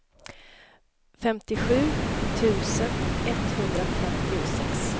femtiosju tusen etthundrafemtiosex